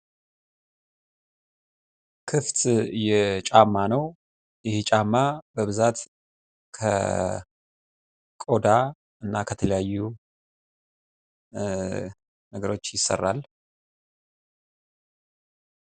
ክፍት የጫማ ነው። የጫማ በብዛት ከቆዳ ከተለያዩ ነገሮች ይሰራል።